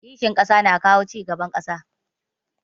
Kishin ƙasa na kawo cigaban ƙasa.